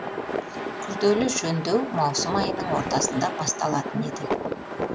күрделі жөндеу маусым айының ортасында басталатын еді